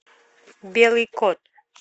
белый кот